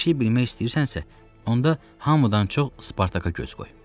Bir şey bilmək istəyirsənsə, onda hamıdan çox Spartaka göz qoy.